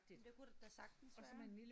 Men det kunne der da sagtens være